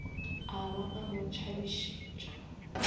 a ba a mo tšhabišetša